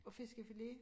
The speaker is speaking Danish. Og fiskefilet